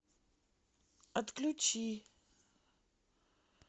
отключи